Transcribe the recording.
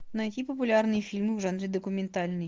найти популярные фильмы в жанре документальный